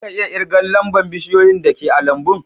Za ka iya kirgan lamba'n bushiyoyin da ke a'lambun?